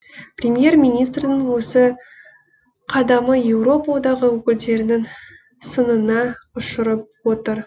премьер министрдің осы қадамы еуропа одағы өкілдерінің сынына ұшырап отыр